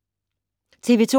TV 2